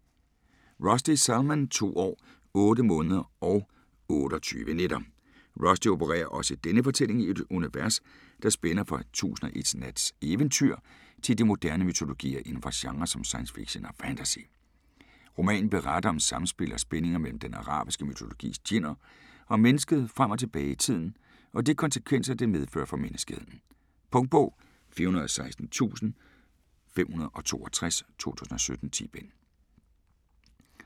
Rushdie, Salman: To år, otte måneder og otteogtyve nætter Rushdie opererer også i denne fortælling i et univers, der spænder fra 1001 Nats eventyr til de moderne mytologier inden for genrer som science fiction og fantasy. Romanen beretter om samspil og spændinger mellem den arabiske mytologis djinner og mennesket frem og tilbage i tiden, og de konsekvenser det medfører for menneskeheden. Punktbog 416562 2017. 10 bind.